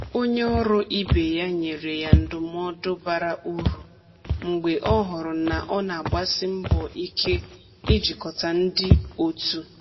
Onye ọrụ ibe ya nyere ya ndụmọdụ bara uru mgbe ọ hụrụ na ọ na-agbasi mbọ ike ijikọta ndị otu.